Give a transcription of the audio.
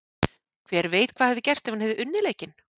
Hver veit hvað hefði gerst ef hann hefði unnið leikinn?